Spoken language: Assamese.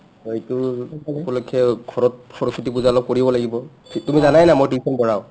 সেইটো উপলক্ষে ঘৰত অলপ সৰস্বতী পূজা কৰিব লাগিব তুমি যানাই না মই tuition পঢ়াও